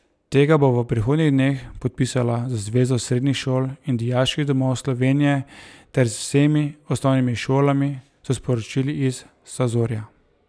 Tega bo v prihodnjih dneh podpisala z Zvezo srednjih šol in dijaških domov Slovenije ter z vsemi osnovnimi šolami, so sporočili iz Sazorja.